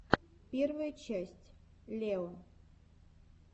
первая часть лео